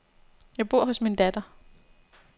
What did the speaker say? Jeg bor hos min datter.